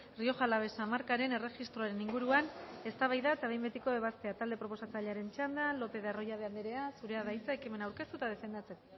rioja alavesa markaren erregistroaren inguruan eztabaida eta behin betiko ebazpena talde proposatzailearen txanda lopez de arroyabe andrea zurea da hitza ekimen aurkeztu eta defendatzeko